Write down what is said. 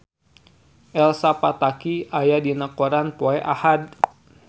Elsa Pataky aya dina koran poe Ahad